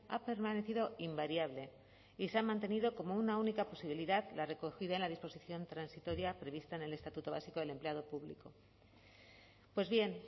ha permanecido invariable y se ha mantenido como una única posibilidad la recogida en la disposición transitoria prevista en el estatuto básico del empleado público pues bien